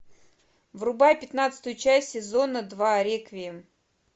врубай пятнадцатую часть сезона два реквием